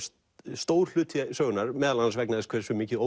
stór hluti sögunnar meðal annars vegna þess hversu mikið